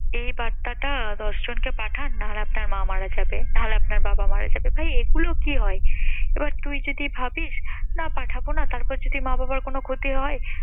এই বার্তাটা দশ জনকে পাঠান না হলে আপনার মা মারা যাবে, না হলে আপনার বাবা মারা যাবে। ভাই এইগুলো কি হয়? তারপর তুই যদি ভাবিস না পাঠাবো না তারপর যদি মা বাবার কোন ক্ষতি হয়?